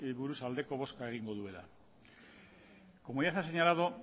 buruz aldeko bozka egingo duela como ya se ha señalado